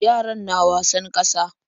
Yaran na wasan ƙasa.